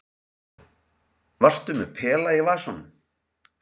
Varstu með pela í vasanum?